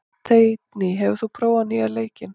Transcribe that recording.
Teitný, hefur þú prófað nýja leikinn?